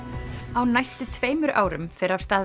á næstu tveimur árum fer af stað